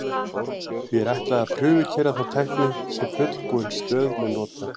Því er ætlað að prufukeyra þá tækni sem fullbúin stöð mun nota.